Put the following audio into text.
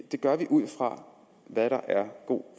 gør vi ud fra hvad der er god